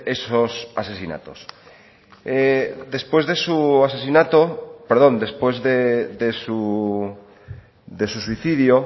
esos asesinatos después de su suicidio